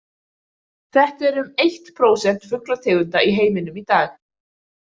Þetta eru um eitt prósent fuglategunda í heiminum í dag.